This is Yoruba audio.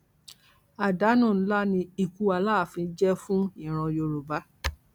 àdánù ńlá ni ikú aláàfin jẹ fún ìran yorùbá